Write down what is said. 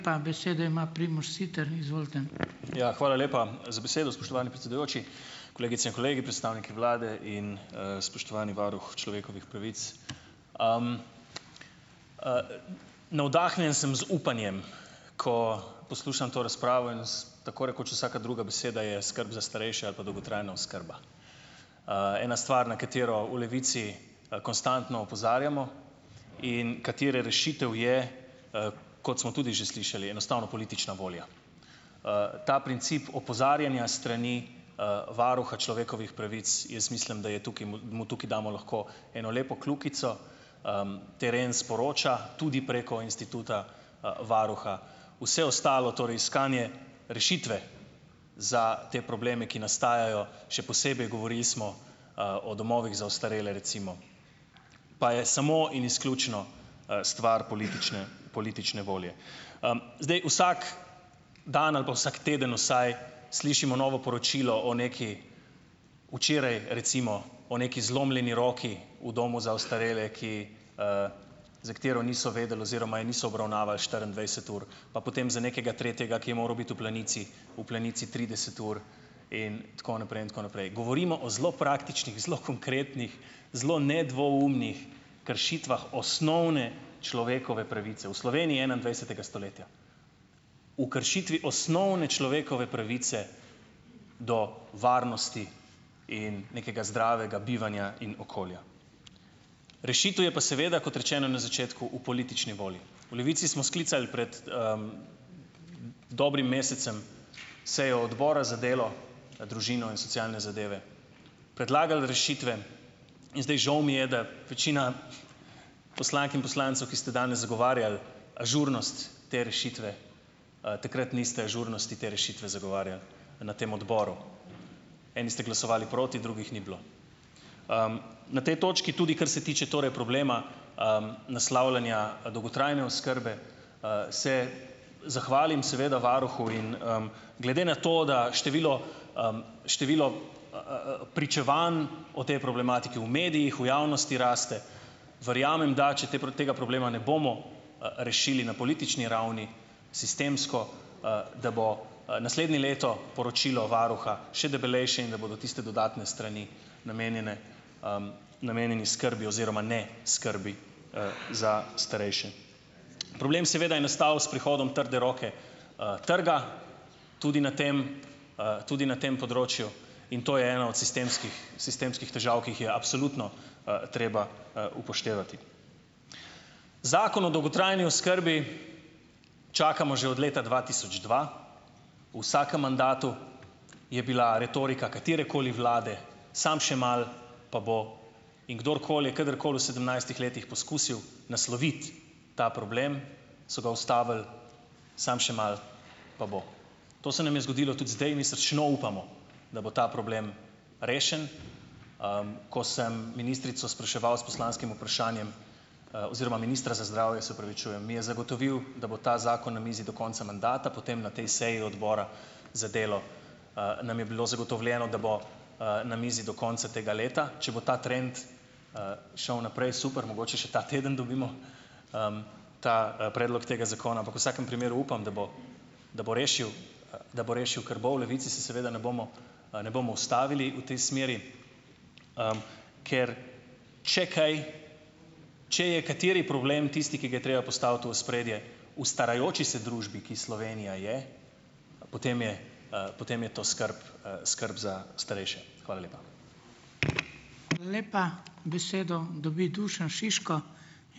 Pa besedo ima Primož Siter, izvolite. Ja, hvala lepa za besedo, spoštovani predsedujoči. Kolegice in kolegi, predstavniki vlade in, spoštovani varuh človekovih pravic. navdahnjen sem z upanjem, ko poslušam to razpravo in tako rekoč vsaka druga beseda je skrb za starejše ali pa dolgotrajna oskrba. ena stvar, na katero v Levici konstantno opozarjamo in katere rešitev je, kot smo tudi že slišali, enostavno politična volja. ta princip opozarjanja strani, varuha človekovih pravic, jaz mislim, da je tukaj mu tukaj damo lahko eno lepo kljukico, teren sporoča, tudi preko instituta, varuha. Vse ostalo, torej iskanje rešitve za te probleme, ki nastajajo, še posebej govorili smo, o domovih za ostarele, recimo. Pa je samo in izključno, stvar politične , politične volje. zdaj vsak dan ali pa vsak teden vsaj slišimo novo poročilo o nekaj, včeraj, recimo, o neki zlomljeni roki v domu za ostarele , ki, za katero niso vedeli oziroma je niso obravnavali štiriindvajset ur. Pa potem za nekega tretjega, ki je moral biti v Planici, v Planici trideset ur in tako naprej in tako naprej. Govorimo o zelo praktičnih, zelo konkretnih zelo nedvoumnih kršitvah osnovne človekove pravice. V Sloveniji enaidvajsetega stoletja. O kršitvi osnovne človekove pravice do varnosti in nekega zdravega bivanja in okolja. Rešitev je pa seveda, kot rečeno na začetku, v politični volji. V Levici smo sklicali pred, dobrim mesecem seje odbora za delo, družino in socialne zadeve, predlagali rešitve in zdaj, žal mi je, da večina poslank in poslancev, ki ste danes zagovarjali ažurnost te rešitve, takrat niste ažurnosti te rešitve zagovarjali na tem odboru. Eni ste glasovali proti, drugih ni bilo. na tej točki, tudi kar se tiče torej problema, naslavljanja, dolgotrajne oskrbe, se zahvalim seveda varuhu in, glede na to, da število, število, pričevanj o tej problematiki v medijih, v javnosti raste. Verjamem da, če te tega problema ne bomo, rešili na politični ravni, sistemsko, da bo, naslednje leto poročilo varuha še debelejše in da bodo tiste dodatne strani namenjene, namenjeni skrbi oziroma ne skrbi, za starejše. Problem seveda je nastal s prihodom trde roke. trga tudi na tem, tudi na tem področju. In to je ena od sistemskih, sistemskih težav, ki jih je absolutno, treba, upoštevati. Zakon o dolgotrajni oskrbi čakamo že od leta dva tisoč dva. Vsakem mandatu je bila retorika katerekoli vlade, samo še malo, pa bo. In kdorkoli, kdorkoli v sedemnajstih letih poskusil nasloviti ta problem, so ga ustavili, samo še malo pa bo. To se nam je zgodilo tudi zdaj. Mi srčno upamo, da bo ta problem rešen. ko sem ministrico spraševal s poslanskim vprašanjem, oziroma ministra za zdravje, se opravičujem, mi je zagotovil, da bo ta zakon na mizi do konca mandata. Potem na tej seji odbora za delo, nam je bilo zagotovljeno, da bo, na mizi do konca tega leta, če bo ta trend, šel naprej, super, mogoče še ta teden dobimo, ta, predlog tega zakona, ampak vsakem primeru upam, da bo, da bo rešilo, da bo rešilo, kar bo. V Levici se seveda ne bomo, ne bomo ustavili v tej smeri, ker, če kaj, če je kateri problem tisti, ki ga je treba postaviti v ospredje, v starajoči se družbi, ki Slovenija je, potem je, potem je to skrb, skrb za starejše. Hvala lepa. Hvala lepa. Besedo dobi Dušan Šiško.